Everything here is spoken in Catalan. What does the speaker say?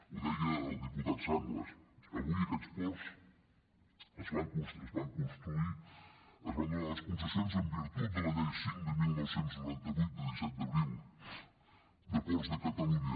ho deia el diputat sanglas avui aquests ports es van construir es van donar les concessions en virtut de la llei cinc de dinou noranta vuit de disset d’abril de ports de catalunya